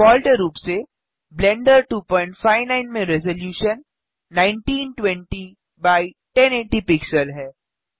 default रूप से Blender 259 में रेज़लूशन 1920एक्स1080 पिक्सल है